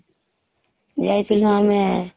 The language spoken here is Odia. ଯାଇଥିଲୁ ଆମେ